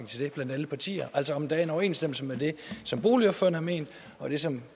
til det blandt alle partier altså om der er en overensstemmelse mellem det som boligordførerne har ment og det som